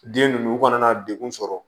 Den ninnu u kana na degun sɔrɔ